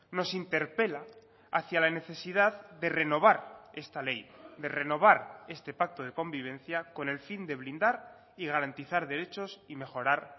nos interpela hacia la necesidad de renovar esta ley de renovar este pacto de convivencia con el fin de blindar y garantizar derechos y mejorar